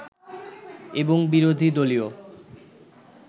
এবং বিরোধী দলীয়